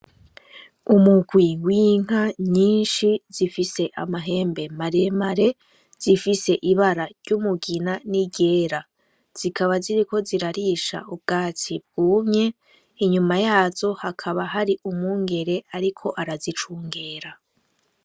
Umugwi w'inka nyinshi zifise amahembe maremare, zifise ibara ry'umugina n'iryera. Zikaba ziriko zirarisha ubwatsi bwumye, inyuma yazo hakaba hari umwungere ariko arazicungera.